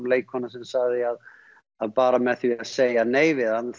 leikkona sem sagði að að bara með því að segja nei við hann